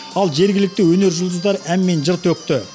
ал жергілікті өнер жұлдыздары ән мен жыр төкті